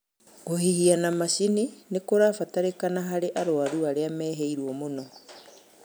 Kũhihia na macini nĩkũrabatarĩkana harĩ arwaru arĩa mehĩrĩirwo mũno